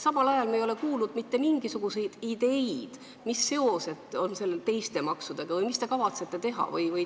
Samal ajal ei ole me kuulnud mitte mingisuguseid ideid, mis seosed on sellel teiste maksudega või mis te kavatsete teha.